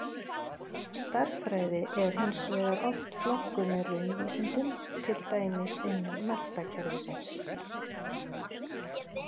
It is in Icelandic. Stærðfræði er hins vegar oft flokkuð með raunvísindum, til dæmis innan menntakerfisins.